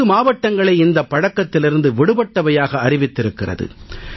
10 மாவட்டங்களை இந்தப் பழக்கத்திலிருந்து விடுபட்டவையாக அறிவித்திருக்கிறது